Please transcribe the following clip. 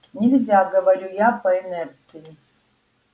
нельзя говорю я по инерции